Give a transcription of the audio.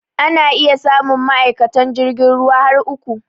Ana iya samun ma'aikatan jirgin ruwa har uku.